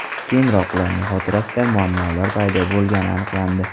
Keyinroq ularning xotirasida muammolar paydo bo‘lgani aniqlandi.